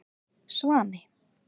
Svani